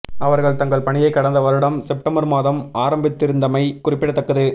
அவர்கள் தங்கள் பணியை கடந்த வருடம் செப்டெம்பர் மாதம் ஆரம்பித்திருந்தமை குறிப்பிடத்தக்கது